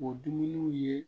O dumuniw ye